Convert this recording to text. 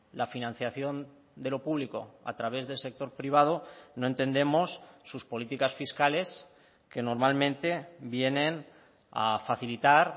la financiación de lo público a través del sector privado no entendemos sus políticas fiscales que normalmente vienen a facilitar